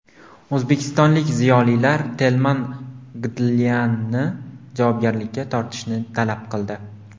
O‘zbekistonlik ziyolilar Telman Gdlyanni javobgarlikka tortishni talab qildi.